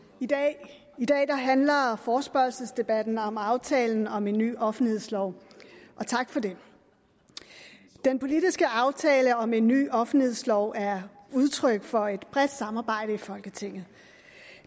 i dag handler forespørgselsdebatten om aftalen om en ny offentlighedslov tak for det den politiske aftale om en ny offentlighedslov er udtryk for et bredt samarbejde i folketinget